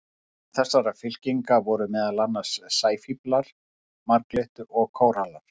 Innan þessarar fylkingar eru meðal annars sæfíflar, marglyttur og kórallar.